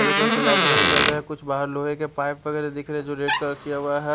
Yellow colour की light वगेरा जल रहा है कुछ बहार लोहे के पाइप वगेर दिखरे है जो रेड कलर किया हुआ है ।